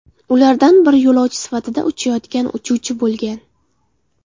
Ulardan biri yo‘lovchi sifatida uchayotgan uchuvchi bo‘lgan.